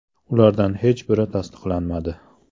Ulardan hech biri tasdiqlanmadi.